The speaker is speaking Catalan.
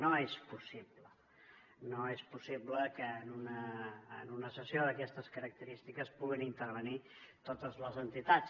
no és possible no és possible que en una sessió d’aquestes característiques puguin intervenir totes les entitats